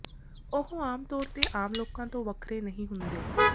ਉਹ ਆਮ ਤੌਰ ਤੇ ਆਮ ਲੋਕਾਂ ਤੋਂ ਵੱਖਰੇ ਨਹੀਂ ਹੁੰਦੇ